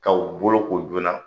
K'aw boloko joona